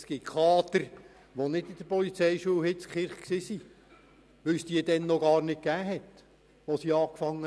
Es gibt Kaderangestellte, welche nicht die Polizeischule in Hitzkirch besuchten, da es diese noch gar nicht gab, als diese begannen.